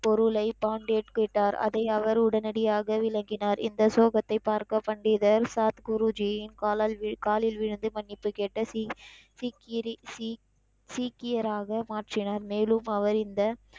பொருளை பாண்டியட் கேட்டார் அதை அவர் உடனடியாக விளக்கினார் இந்த சுலோகத்தை பார்க்க பண்டிதர் குருஜியின் காலால் காலில் விழுந்து மன்னிப்பு கேட்ட ஸி ஸி கிரி ஸி சீக்கியராக மாற்றினார் மேலும் அவர் இந்த,